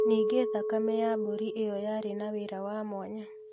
Ningĩ thakame ya mbũrĩ ĩyo yarĩ na wĩra wa mwanya